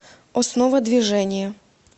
основа движения